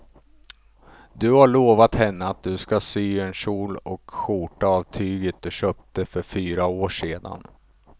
Du har lovat henne att du ska sy en kjol och skjorta av tyget du köpte för fyra år sedan.